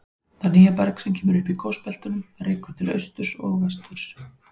Það nýja berg sem kemur upp í gosbeltunum rekur til austurs og vesturs.